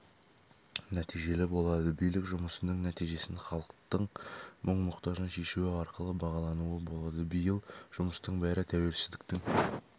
нәтижелі болады билік жұмысының нәтижесін халықтың мұң-мұқтажын шешуі арқылы бағалауына болады биыл жұмыстың бәрі тәуелсіздіктің